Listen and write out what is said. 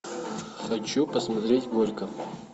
хочу посмотреть горько